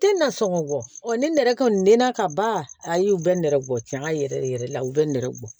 Tɛ na sɔngɔ bɔ ni nɛgɛ kɔni ka ban a y'u bɛ nɛrɛ bɔ tiɲɛ yɛrɛ yɛrɛ yɛrɛ la u bɛ nɛgɛ bɔ